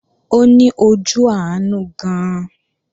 Ó ní ojú àánú gan-an